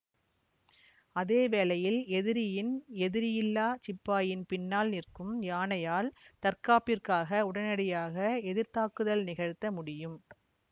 அதேவேளையில் எதிரியின் எதிரியில்லா சிப்பாயின் பின்னால் நிற்கும் யானையால் தற்காப்பிற்காக உடனடியாக எதிர் தாக்குதல் நிகழ்த்த முடியும்